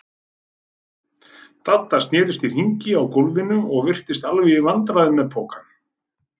Dadda snerist í hringi á gólfinu og virtist alveg í vandræðum með pokann.